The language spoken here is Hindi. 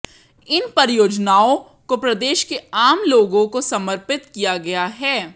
इन परियोजनाओं को प्रदेश के आम लोगों को समर्पित किया गया है